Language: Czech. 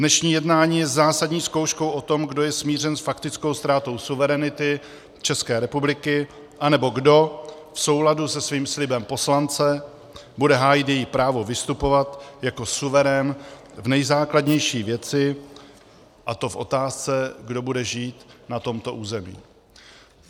Dnešní jednání je zásadní zkouškou o tom, kdo je smířen s faktickou ztrátou suverenity České republiky, anebo kdo v souladu se svým slibem poslance bude hájit její právo vystupovat jako suverén v nejzákladnější věci, a to v otázce, kdo bude žít na tomto území.